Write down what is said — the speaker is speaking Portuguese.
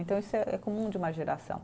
Então isso é, é comum de uma geração.